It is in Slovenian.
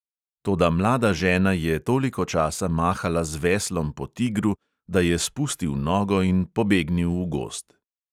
Toda mlada žena je toliko časa mahala z veslom po tigru, da je spustil nogo in pobegnil v gozd.